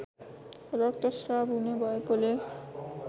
रक्तश्राब हुने भएकोले